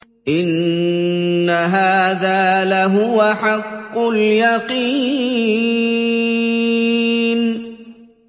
إِنَّ هَٰذَا لَهُوَ حَقُّ الْيَقِينِ